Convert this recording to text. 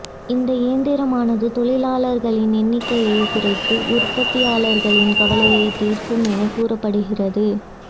இந்த இயந்திரமானது தொழிலாளர்களின் எண்ணிக்கையை குறைத்து உற்பத்தியாளர்களின் கவலையை தீர்க்கும் என கூறப்படுகிறது